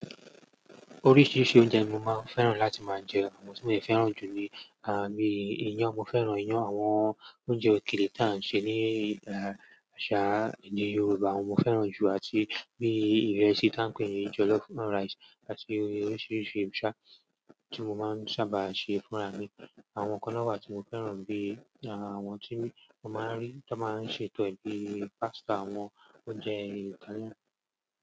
Oríṣiríṣi oúnjẹ ni mo máa ń fẹ́ràn láti máa jẹ, àwọn tí mo ti fẹ́ràn jù ni, ah, bíi iyán, mo fẹ́ràn iyán, àwọn oúnjẹ òkèlè tí a ń ṣe ní, i ah àṣà ní Yorùbá mo fẹ́ràn jù àti bíi ìrẹsì tí a ń pè ní jollof rice. Àti oríṣiríṣi u ṣà tí mo máa ń sábà ṣe fún ra mi. Àwọn kan náà bí i tí mo fẹ́ràn bí i, ah, àwọn tí mo máa ń rí, tí wọ́n máa ń ṣe to e bíi pasta, àwọn oúnjẹ Italian.